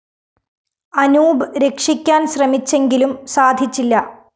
അനൂപ് രക്ഷിക്കാന്‍ ശ്രമിച്ചെങ്കിലും സാധിച്ചില്ല